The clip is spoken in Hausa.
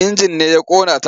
Injin ne ya ƙona ta.